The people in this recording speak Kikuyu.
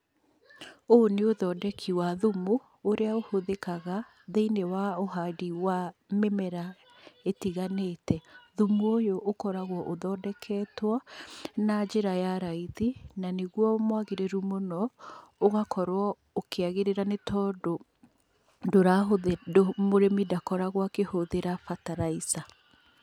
Ũũ nĩ ũthondeki wa thumu ũrĩa ũhũthĩkaga thĩiniĩ wa ũhandi wa mĩmera ĩtiganĩte. Thumu ũyũ ũkoragwo ũthondeketwo na njĩra ya raithi, na nĩguo mwagĩrĩru mũno, ũgakorwo ũkĩagĩrĩra, nĩ tondũ mũrĩmi ndakoragwo akĩhũthĩra bataraica.